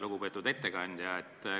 Lugupeetud ettekandja!